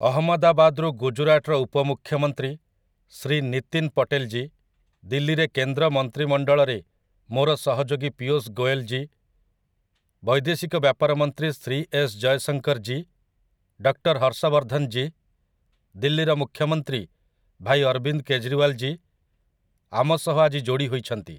ଅହମଦାବାଦରୁ ଗୁଜୁରାଟର ଉପମୁଖ୍ୟମନ୍ତ୍ରୀ ଶ୍ରୀ ନୀତିନ୍ ପଟେଲ୍ ଜୀ, ଦିଲ୍ଲୀରେ କେନ୍ଦ୍ର ମନ୍ତ୍ରିମଣ୍ଡଳରେ ମୋର ସହଯୋଗୀ ପୀୟୂଷ୍ ଗୋୟଲ୍ ଜୀ, ବୈଦେଶିକ ବ୍ୟାପାର ମନ୍ତ୍ରୀ ଶ୍ରୀ ଏସ୍ ଜୟଶଙ୍କର୍ ଜୀ, ଡକ୍ଟର୍ ହର୍ଷ ବର୍ଦ୍ଧନ୍ ଜୀ, ଦିଲ୍ଲୀର ମୁଖ୍ୟମନ୍ତ୍ରୀ ଭାଇ ଅରବିନ୍ଦ୍ କେଜ୍ରିୱାଲ୍ ଜୀ, ଆମ ସହ ଆଜି ଯୋଡ଼ି ହୋଇଛନ୍ତି ।